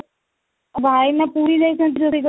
ଭାଇନା ପୁରୀ ଯାଇଛନ୍ତି ରୋଷେଇ